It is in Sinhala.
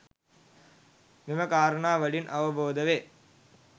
මෙම කාරණා වලින් අවබෝධ වේ.